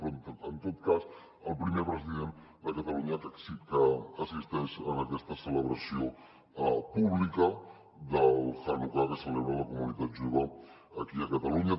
però en tot cas el primer president de catalunya que assisteix a aquesta celebració pública del hanukkà que celebra la comunitat jueva aquí a catalunya